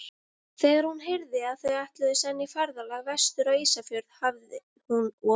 Þegar hún heyrði, að þau ætluðu senn í ferðalag vestur á Ísafjörð, hafi hún og